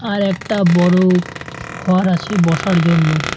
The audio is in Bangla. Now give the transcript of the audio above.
আরেকটা বড়ো ঘর আছে বসার জন্য।